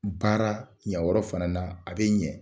Baara ɲa yɔrɔ fana na a bɛ ɲɛ